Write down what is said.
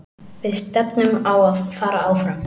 Við stefnum á að fara áfram.